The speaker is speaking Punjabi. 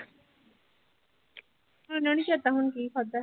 ਇੰਨਾ ਨੀ ਚੇਤਾ ਹੁਣ ਕੀ ਖਾਧਾ ਸੀ।